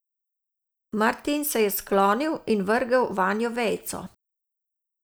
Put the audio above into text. Martin se je sklonil in vrgel vanjo vejico.